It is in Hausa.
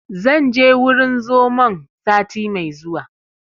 Zan je wurin zomon sati mai zuwa